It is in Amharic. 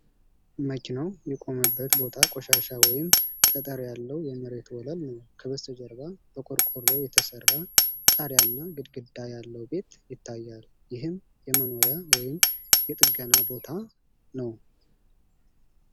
መኪናው የቆመበት ቦታ ቆሻሻ ወይም ጠጠር ያለው የመሬት ወለል ነው። ከበስተጀርባ በቆርቆሮ የተሰራ ጣሪያና ግድግዳ ያለው ቤት ይታያል፣ ይህም የመኖሪያ ወይም የጥገና ቦታ ነው፡፡